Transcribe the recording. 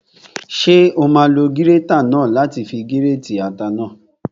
Ṣé o máa lo gírétà náà láti fi gírètì ata náà?